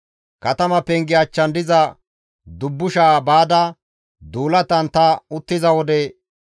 Katama penge achchan diza dubbusha baada duulatan ta uttiza wode,